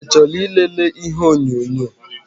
I chọrọ ị lele ihe onyonyo?